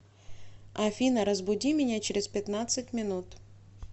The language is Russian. афина разбуди меня через пятнадцать минут